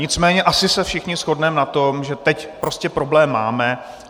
Nicméně asi se všichni shodneme na tom, že teď prostě problém máme.